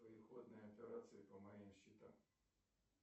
переходные операции по моим счетам